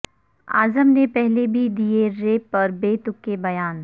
اعظم نے پہلے بھی دیے ریپ پر بے تکے بیان